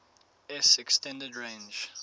s extended range